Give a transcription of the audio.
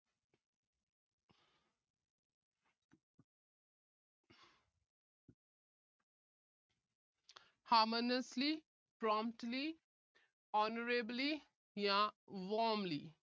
harmoniously, promptly, honorably ਜਾਂ warmly